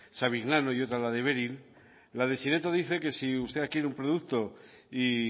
savignano y otra la de beryl la de sineto dice que si usted adquiere un producto y